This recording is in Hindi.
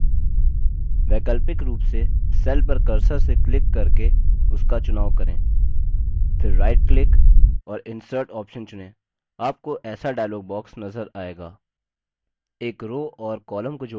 वैकल्पिक रूप से cell पर cursor से click करके उसका चुनाव करें फिर right click और insert option चुनें आपको ऐसा dialog box नज़र आएगा